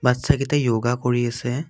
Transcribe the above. বাচ্ছা কেইটাই য়োগা কৰি আছে।